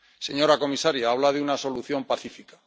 Señora comisaria, habla de una solución pacífica.